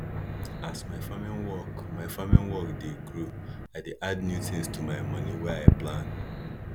as my farming work my farming work dey grow i dey add new things to my moni wey i plan